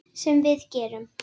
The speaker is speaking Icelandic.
Sem við gerum.